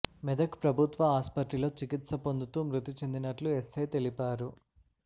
మెదక్ ప్రభుత్వ ఆసుపత్రిలో చికిత్స పొందుతుూ మృతి చెందినట్లు ఎస్ఐ తెలిపారు